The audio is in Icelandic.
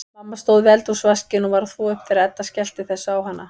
Mamma stóð við eldhúsvaskinn og var að þvo upp þegar Edda skellti þessu á hana.